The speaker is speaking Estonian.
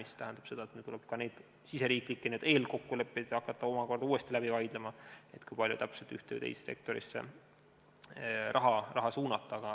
See tähendab seda, et meil tuleb hakata enda riigisiseseid eelkokkuleppeid omakorda uuesti läbi vaidlema, kui palju täpselt ühte või teise sektorisse raha suunata.